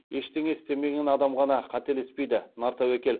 ештеңе істемеген адам ғана қателеспейді нар тәуекел